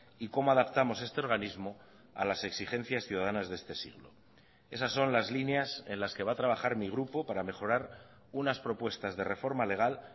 y cómo adaptamos este organismo a las exigencias ciudadanas de este siglo esas son las líneas en las que va a trabajar mi grupo para mejorar unas propuestas de reforma legal